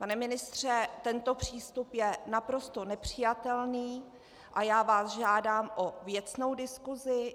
Pane ministře, tento přístup je naprosto nepřijatelný a já vás žádám o věcnou diskusi.